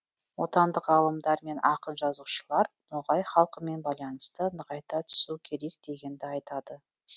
отандық ғалымдар мен ақын жазушылар ноғай халқымен байланысты нығайта түсу керек дегенді айтады